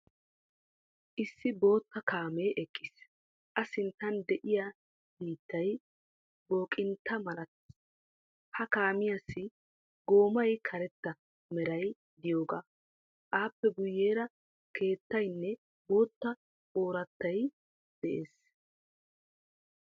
Issi bootta kaamee eqqiis. A sinttan de'iya biittay booqqintta malattees. Ha kaamiyaassi goommay karetta meray de'iyoga. Appe guyeera keettaynne bootta oroottoy de'ees.